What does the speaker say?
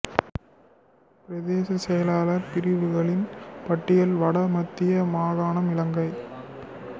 பிரதேச செயலாளர் பிரிவுகளின் பட்டியல் வட மத்திய மாகாணம் இலங்கை